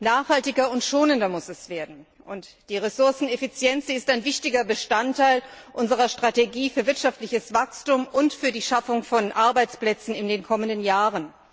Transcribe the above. Nachhaltiger und schonender muss es werden, und die Ressourceneffizienz ist ein wichtiger Bestandteil unserer Strategie für wirtschaftliches Wachstum und für die Schaffung von Arbeitsplätzen in den kommenden Jahren.